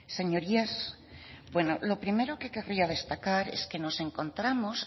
señorías lo primero que querría destacar es que nos encontramos